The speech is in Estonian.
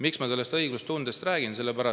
Miks ma sellest õiglustundest räägin?